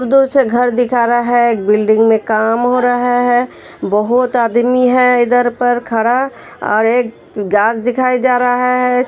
एक दूर से घर दिखा रहा है बिल्डिंग में काम हो रहा है बहुत आदमी हैं इधर पर खड़ा और एक घांस दिखाई जा रहा है।